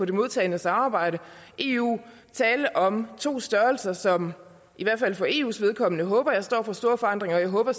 det modtagende samarbejde eu tale om to størrelser som i hvert fald for eus vedkommende håber jeg står over for store forandringer og jeg håber